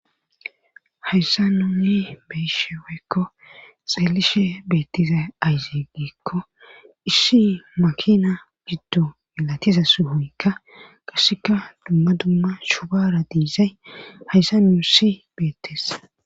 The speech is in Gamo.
Hayssa nuunni beyishe wokko xeelishe beettiza ayzeey giikko issi makina giddo milatiza suhoykka qasseka dumma dumma shubara diizay hayssa nunusi beettes.